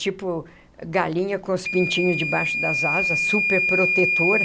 tipo galinha com os pintinhos debaixo das asas, super protetora.